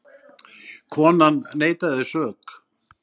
Konan neitaði sök.